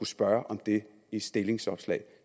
spørge om det i et stillingsopslag